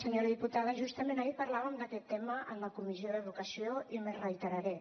senyora diputada justament ahir parlàvem d’aquest tema en la comissió d’educació i m’hi reiteraré